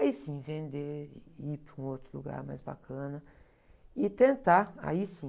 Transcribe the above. Aí sim, vender, e ir para um outro lugar mais bacana e tentar, aí sim,